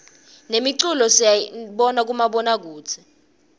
nemculo siyibona kumabona kudze